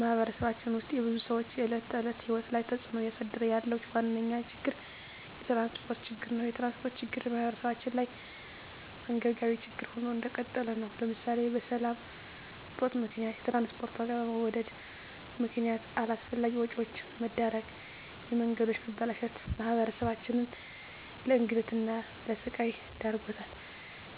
በማህበረሰባችን ውስጥ የብዙ ሰዎች የዕለት ተዕለት ህይወት ላይ ተፅእኖ እያሳደረ ያለው ዋነኛ ችግር የትራንስፖርት ችግር ነው። የትራንስፖርት ችግር በማህበረሰባችን ላይ አንገብጋቢ ችግር ሆኖ እንደቀጠለ ነው ለምሳሌ በሰላም እጦት ምክንያት የትራንስፖርት ዋጋ በመወደድ ምክነያት አላስፈላጊ ወጪዎች መዳረግ፣ የመንገዶች መበላሸት ማህበረሰባችንን ለእንግልትና ለስቃይ ዳርጓታል